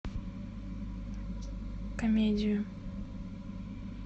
комедию